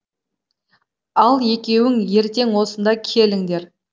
ал екеуің ертең осында келіңдер